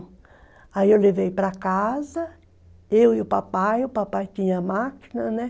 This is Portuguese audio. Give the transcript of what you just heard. Aí eu levei para casa, eu e o papai, o papai tinha máquina, né?